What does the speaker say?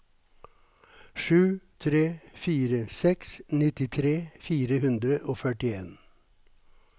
sju tre fire seks nittitre fire hundre og førtien